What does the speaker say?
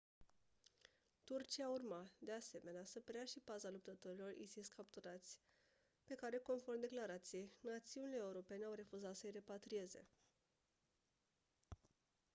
turcia urma de asemenea să preia și paza luptătorilor isis capturați pe care conform declarației națiunile europene au refuzat să-i repatrieze